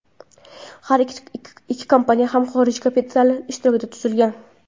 Har ikki kompaniya ham xorij kapitali ishtirokida tuzilgan.